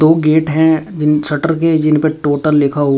दो गेट हैं इन शटर के जिन पे टोटल लिखा--